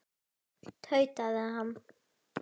Hvað segirðu um þau, ha?